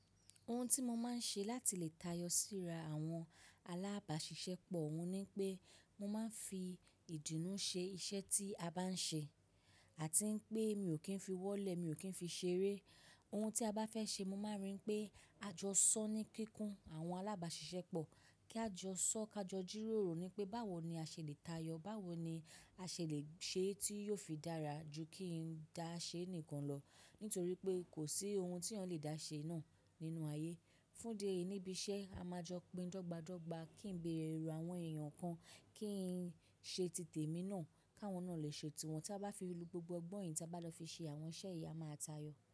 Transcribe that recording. Ohun tí mo máa ń ṣe láti lè tayọ síra àwọn alábàṣiṣẹ́ pọ̀ wùn ni pé mo máa ń fi ìdùnnú ṣe iṣẹ́ tí a bá ń ṣe. Àti pé mi ò kí ń fi wọ́lẹ̀, mi ò kí ń fi ṣeré. Ohun tí a bá fẹ́ ṣe, mo máa ríi pé a jọ sọ ní kíkún àwọn alábàṣiṣẹ́ pọ̀. Kí a jọ sọ́, ká jọ jírórò ni pé báwo ni a ṣe le tayọ, báwo ni a ṣe lè ṣe é tí yóò fi dára ju kí n dáa ṣe nìkan lọ. Nítorí pé kò sí ohun tí a ò lè dá ṣe náà nínú ayé. Fún de ìníbi iṣẹ́, a máa jọ gbìn dọ́gba dọ́gba, kí n gbé ẹrù àwọn èèyàn kan, kí n ṣe tìtèmi náà, káwọn náà lè ṣe tiwọn. Tí a bá fi ìlú gbogbo gbọ́yìn, tí a bá lọ fi ṣe àwọn iṣẹ́ yìí, a máa a tayọ.